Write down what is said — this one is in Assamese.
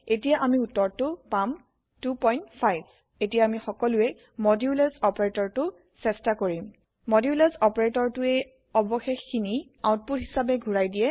এটিয়া আমি উত্তৰটো পাম 25 এতিয়া আমি সকলোৱে মডুলাছ অপাৰেটৰটো চেয্টা কৰিম মডুলাছ অপাৰেটৰটোৱে অবশেষখিনি আউপুট হিচাবেঘুৰাই দিয়ে